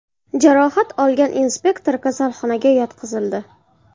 Jarohat olgan inspektor kasalxonaga yotqizildi.